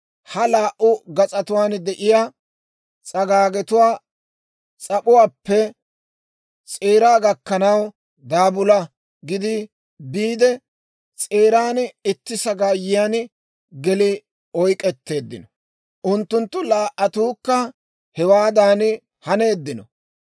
Ha laa"u gas'atuwaan de'iyaa s'agaagetuwaa s'ap'uwaappe s'eeraa gakkanaw daabula gidi biide, s'eeran itti sagaayiyaan geli oyk'k'etteeddino. Unttunttu laa"attuukka hewaadan haneeddino.